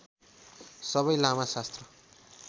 सबै लामा शास्त्र